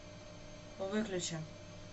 выключи